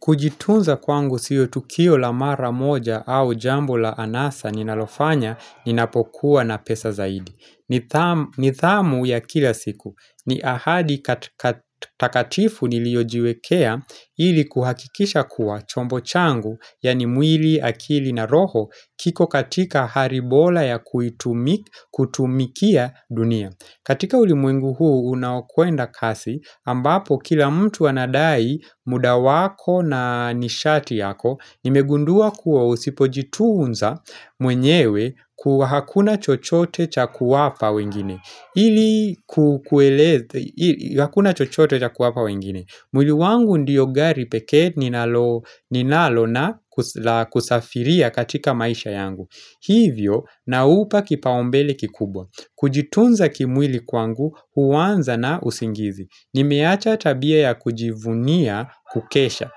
Kujitunza kwangu siyo tukio la mara moja au jambo la anasa ninalofanya ninapokuwa na pesa zaidi. Ni thamu ya kila siku. Ni ahadi takatifu niliojiwekea ili kuhakikisha kuwa chombo changu yani mwili akili na roho kiko katika hari bola ya kutumikia dunia. Katika ulimwengu huu unaokwenda kasi ambapo kila mtu anadai muda wako na nishati yako nimegundua kuwa usipojitunza mwenyewe hakuna chochote cha kuwapa wengine. Mwili wangu ndiyo gari pekee ninalo na kusafiria katika maisha yangu. Hivyo na upa kipaombele kikubwa Kujitunza kimwili kwangu huwanza na usingizi Nimeacha tabia ya kujivunia kukesha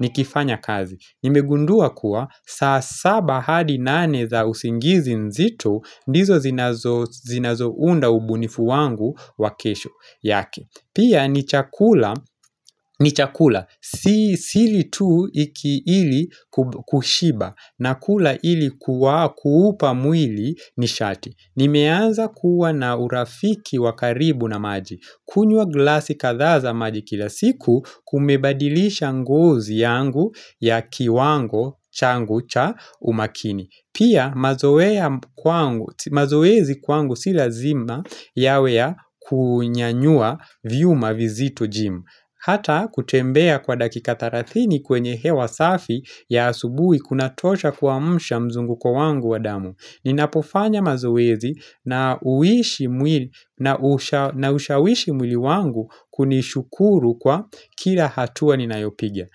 nikifanya kazi Nimegundua kuwa saa saba hadi nane za usingizi nzito ndizo zinazo zinazo unda ubunifu wangu wa kesho yake Pia ni chakula ni chakula, sili tu iki ili kushiba nakula ili kuupa mwili ni shati Nimeanza kuwa na urafiki wa karibu na maji kunywa glasi kadhaa maji kila siku kumebadilisha ngozi yangu ya kiwango changu cha umakini Pia mazoea mazoezi kwangu si lazima yawe ya kunyanyua viuma vizito jim Hata kutembea kwa dakika tarathini kwenye hewa safi ya asubui kuna tosha kuamsha mzunguko wangu wa damu. Ninapofanya mazowezi na uishi ushawishi mwili wangu kunishukuru kwa kila hatua ninayopigia.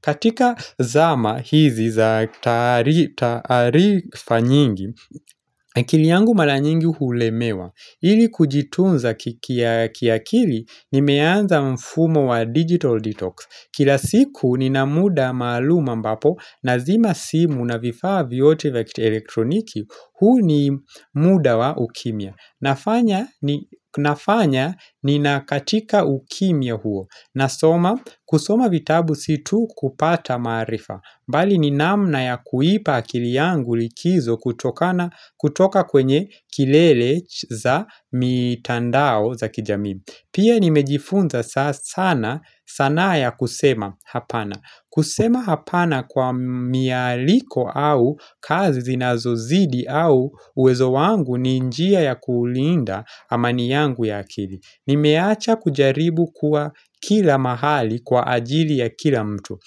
Katika zama hizi za taarifa nyingi, akili yangu mara nyingi hulemewa. Ili kujitunza kiakili nimeanza mfumo wa digital detox. Kila siku nina muda maaluma mbapo nazima simu na vifaa vyote vya elektroniki, huu ni muda wa ukimia. Nafanya ninakatika ukimia huo nasoma kusoma vitabu si tu kupata maarifa Bali ni namna ya kuipa akili yangu likizo kutokana kutoka kwenye kilele za mitandao za kijami Pia nimejifunza sana sanaa ya kusema hapana kusema hapana kwa mialiko au kazi zinazozidi au uwezo wangu ni njia ya kuulinda amani yangu ya akili. Nimeacha kujaribu kuwa kila mahali kwa ajili ya kila mtu.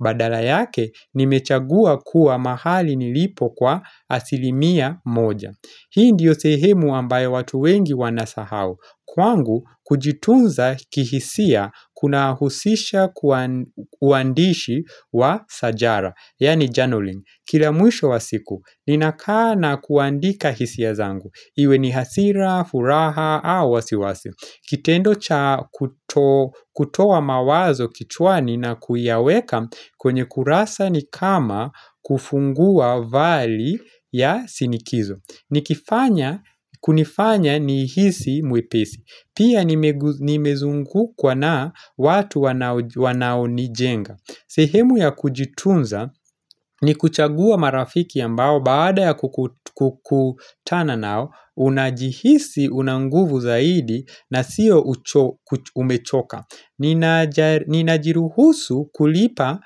Badala yake nimechagua kuwa mahali nilipo kwa asilimia moja. Hii ndiyo sehemu ambayo watu wengi wanasahau. Kwangu, kujitunza kihisia kuna husisha kuandishi wa sajara, yani journaling. Kila mwisho wa siku, ninakana kuandika hisia zangu. Iwe ni hasira, furaha au wasiwasi. Kitendo cha kutoa mawazo kichwani na kuyaweka kwenye kurasa ni kama kufungua vali ya sinikizo. Nikifanya, kunifanya nihisi mwepesi. Pia nimezungukwa na watu wanaonijenga. Sehemu ya kujitunza ni kuchagua marafiki ambao baada ya kukutana nao, unajihisi una nguvu zaidi na siyo umechoka Ninajiruhusu kulipa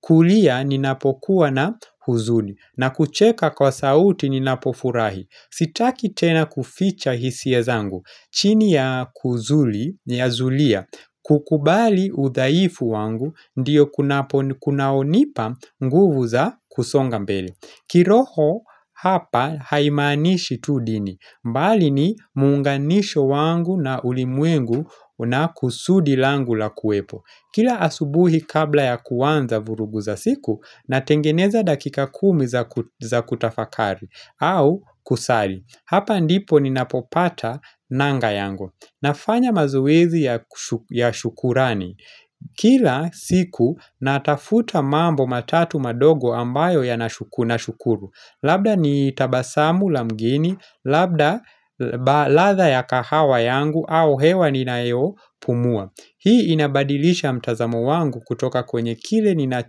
kulia ninapokuwa na huzuni na kucheka kwa sauti ninapofurahi Sitaki tena kuficha hisia zangu chini ya kuzuli, ya zulia, kukubali udhaifu wangu, ndiyo kunaonipa nguvu za kusonga mbele kiroho hapa haimaanishi tu dini, mbali ni muunganisho wangu na ulimwengu na kusudi langu la kuwepo Kila asubuhi kabla ya kuwanza vurugu za siku, natengeneza dakika kumi za kutafakari au kusali Hapa ndipo ninapopata nanga yangu. Nafanya mazowezi ya shukurani. Kila siku natafuta mambo matatu madogo ambayo yana kushukuru. Labda ni tabasamu la mgeni, labda ladha ya kahawa yangu au hewa ninayo pumua. Hii inabadilisha mtazamo wangu kutoka kwenye kile nina.